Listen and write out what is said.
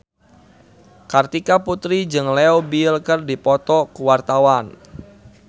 Kartika Putri jeung Leo Bill keur dipoto ku wartawan